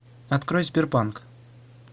открой сбербанк